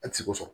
A ti se ko sɔrɔ